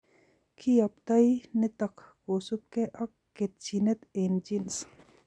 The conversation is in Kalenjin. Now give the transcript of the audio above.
Kiyoptoi nitok kosubkei ak ketchinet eng' genes